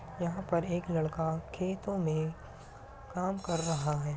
यहाँ पर एक लड़का खेतों मे काम कर रहा है।